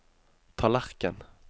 tallerken